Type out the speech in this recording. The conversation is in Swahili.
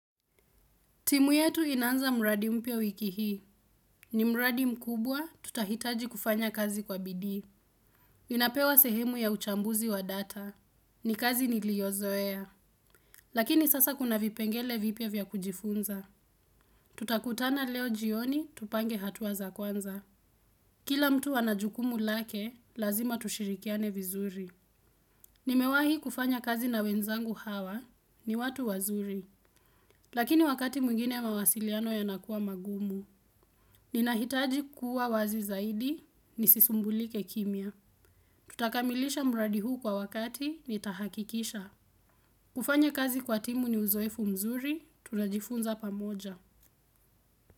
Timu yetu inanza mraadi mpia wiki hii. Ni mraadi mkubwa tutahitaji kufanya kazi kwa bidii. Ninapewa sehemu ya uchambuzi wa data. Ni kazi niliozoea. Lakini sasa kuna vipengele vipya vya kujifunza. Tutakutana leo jioni tupange hatua za kwanza. Kila mtu ana jukumu lake lazima tushirikiane vizuri. Nimewahi kufanya kazi na wenzangu hawa ni watu wazuri. Lakini wakati mwingine mawasiliano yanakuwa magumu. Nina hitaji kuwa wazi zaidi nisisumbulike kimya. Tutakamilisha mradi huu kwa wakati, nitahakikisha. Kufanya kazi kwa timu ni uzoefu mzuri, tunajifunza pamoja.